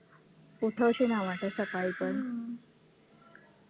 उठ उठावशी नाही वाटत सकाळी पण